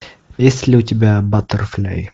есть ли у тебя баттерфляй